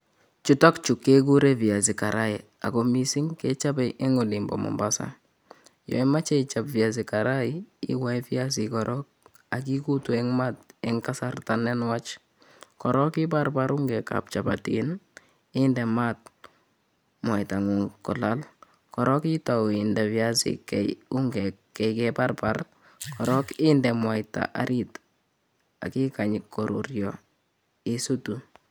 chutok chuu kekuree piasi karai ako missing komiteii olimpoo mombas korook ichop ungeek ak inde mwaita saburietr aki ndema ikeny koruryo ak isutu